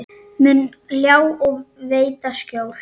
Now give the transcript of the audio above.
mun ljá og veita skjól.